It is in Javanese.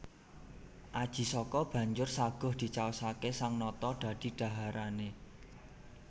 Aji Saka banjur saguh dicaosaké sang nata dadi dhaharané